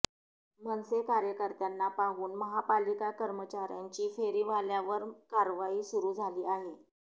मनसे कार्यकर्त्यांना पाहून महापालिका कर्मचाऱ्यांची फेरीवाल्यांवर कारवाई सुरु झाली आहे